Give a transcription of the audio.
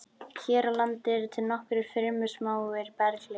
Hér á landi eru til nokkrir fremur smáir berghleifar.